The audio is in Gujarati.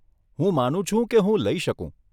હું માનું છું કે હું લઇ શકું.